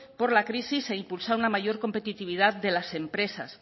por la crisis e impulsar una mayor competitividad de las empresas